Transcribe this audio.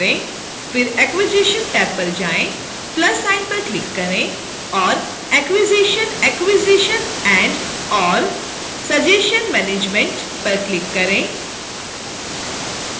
फिर acquisition tab पर आएँ plus sign पर क्लिक करें और acquisition acquisition and/or suggestion management पर क्लिक करें